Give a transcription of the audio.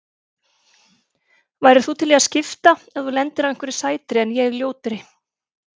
Værir þú til í að skipta ef þú lendir á einhverri sætri en ég ljótri?